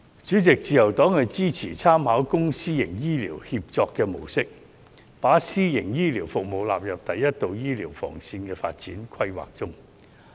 主席，自由黨支持參考"公私營醫療協作"模式，把私營醫療服務納入第一道醫療防線的發展規劃中。